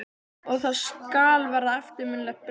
Og það skal verða eftirminnilegt bréf.